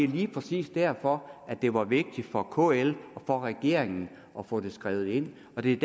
lige præcis derfor det var vigtigt for kl og for regeringen at få det skrevet ind og det er